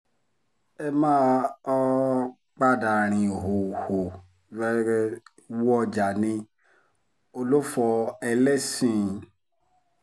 ẹ máa um padà rin ìhòòhò wọ́jà ní òlófọ̀ ẹlẹ́sìn-ín